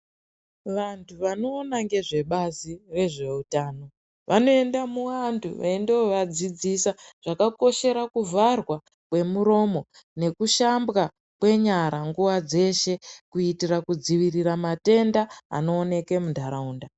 Vantu vanoona ngezve bazi rezveutano vanoenda muantu veindovadzidzisa zvakakoshera kuvharwa kwemuromo nekushambwa kwenyara nguva dzeshe kuitira kudzivirira matenda anooneke mundaraunda.